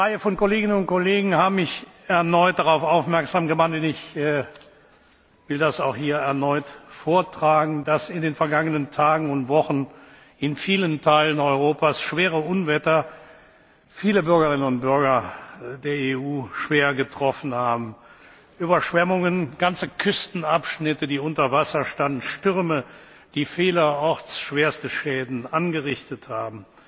Eine Reihe von Kolleginnen und Kollegen haben mich erneut darauf aufmerksam gemacht, und ich will es hier auch erneut vortragen, dass in den vergangenen Tagen und Wochen in vielen Teilen Europas schwere Unwetter viele Bürgerinnen und Bürger der EU schwer getroffen haben Überschwemmungen, ganze Küstenabschnitte, die unter Wasser standen, Stürme, die vielerorts schwerste Schäden angerichtet haben.